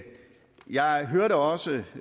jeg hørte også